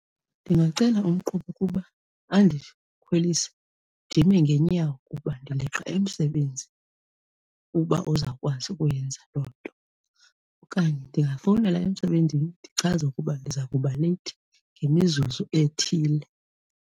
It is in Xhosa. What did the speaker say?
Ndingacela umqhubi ukuba andikhwelise ndime ngeenyawo kuba ndileqa emsebenzini, uba uzawukwazi ukuyenza loo nto. Okanye ndingafowunela emsebenzini ndichaze ukuba ndiza kuba leyithi ngemizuzu ethile.